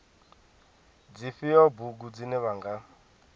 dzifhio bugu dzine vha nga